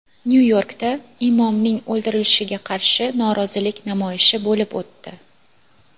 Nyu-Yorkda imomning o‘ldirilishiga qarshi norozilik namoyishi bo‘lib o‘tdi.